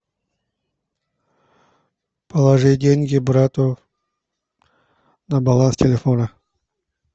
положи деньги брату на баланс телефона